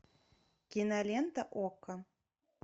кинолента окко